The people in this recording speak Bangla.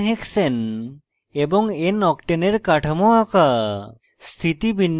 1 nhexane এবং noctane এর কাঠামো আঁকা